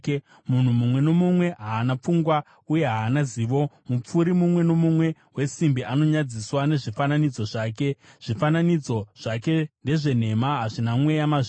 “Munhu mumwe nomumwe haana pfungwa uye haana zivo; mupfuri mumwe nomumwe wesimbi anonyadziswa nezvifananidzo zvake. Zvifananidzo zvake ndezvenhema; hazvina mweya mazviri.